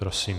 Prosím.